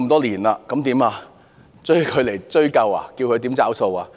難道要把她找出來追究，叫她"找數"嗎？